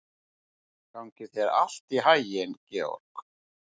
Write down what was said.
Gangi þér allt í haginn, Georg.